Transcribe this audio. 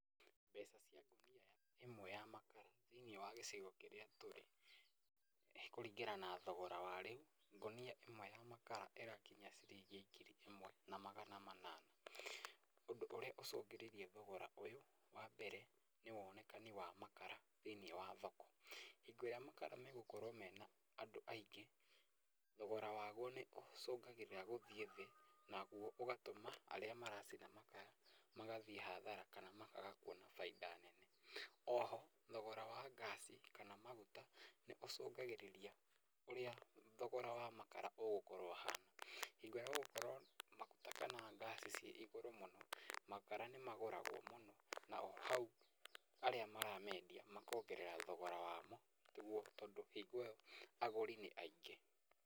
Mbeca cia ngũnia ĩmwe ya makara thĩ-inĩ wa gĩcigo kĩrĩa tũrĩ kũringana na thogora wa rĩu, ngũnia ĩmwe ya makara ĩrakinyia ciringi ngiri ĩmwe na magana manana, ũndũ ũrĩa ũcũngĩrĩirie htogora ũyũ, wambere, nĩ wonekani wa makara thĩ-inĩ wa thoko, hingo ĩrĩa makara megũkorwo me ma andũ aingĩ, thogora waguo nĩ ũcũngagĩrĩra gũthiĩ thĩ, naguo ũgatũma arĩa maracina makara magathiĩ hathara kana makaga kuona bainda nene, oho, thogora wa ngaci, kana maguta, nĩũcũngagĩrĩria ũrĩa thogora wa makara ũgũkorwo ũhana, hingo ĩrĩa ũgũkorwo na maguta kana ngasi ci igũrũ mũno, makara nĩmagũragwo mũno, naho hau, arĩa maramendia makongerea thogora wamo nĩguo tondũ hingo ĩyo agũri nĩ aingĩ.